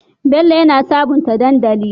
Bello yana sabunta dandali